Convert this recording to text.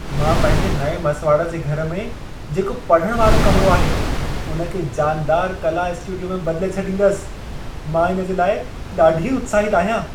मां पंहिंजे नएं मसिवाड़ जे घर में जेको पढ़ण वारो कमिरो आहे, उन खे जानदार कला स्टूडियो में बदिले छॾींदसि। मां इन जे लाइ ॾाढी उत्साहित आहियां।